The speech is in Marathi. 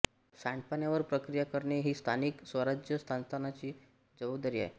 सांडपाण्यावर प्रक्रिया करणे ही स्थानिक स्वराज्य संस्थांची जबाबदारी आहे